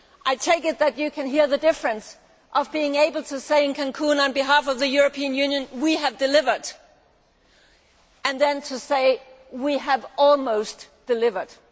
I take it that you can hear the difference between being able to say, in Cancún, on behalf of the European Union We have delivered', and saying We have almost delivered'.